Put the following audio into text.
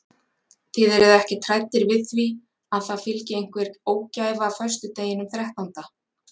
Þið eruð ekkert hræddir við því að það fylgi einhver ógæfa föstudeginum þrettánda?